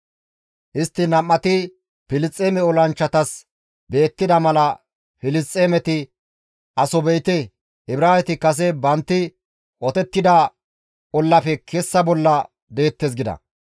Istti nam7ati Filisxeeme olanchchatas beettida mala Filisxeemeti, «Aso be7ite; Ibraaweti kase bantti qotettida ollafe kessa bolla deettes» gides.